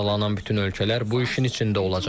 Sadalanan bütün ölkələr bu işin içində olacaq.